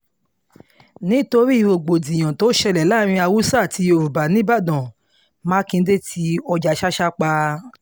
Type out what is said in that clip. nítorí rògbòdìyàn tó ṣẹlẹ̀ láàrin haúsá àti yorùbá nìbàdàn mákindè ti ọjà ṣàṣà pa